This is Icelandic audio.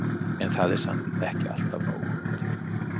En það er samt ekki alltaf nóg.